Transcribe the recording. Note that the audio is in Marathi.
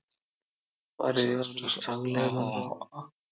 अरे यार, चांगलं आहे ना यार!